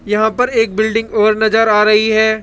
यहां पर एक बिल्डिंग और नजर आ रही है।